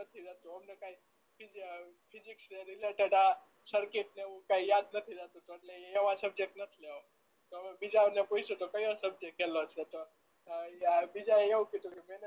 કાઈ રેહતું નથી અમને કાઈ ફીઝ ફીઝીક્સ સર્કીટ ને એવું કાઈ યાદ નથી રેહતું તો એટલે એવા સબ્જેક્ટ નથ લેવા બીજા ઓ ને પૂછ્યું તો કયો સબ્જેક્ટ હેલો છે તો એ બીજાઓ એ એવું કીધું